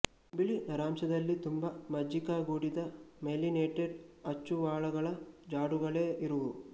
ಬಿಳಿ ನರಾಂಶದಲ್ಲಿ ತುಂಬಾ ಮಜ್ಜಿಕಗೂಡಿದ ಮೈಲಿನೇಟೆಡ್ ಅಚ್ಚುವಾಳಗಳ ಜಾಡುಗಳೇ ಇರುವುವು